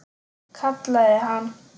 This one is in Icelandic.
Kallaði hann.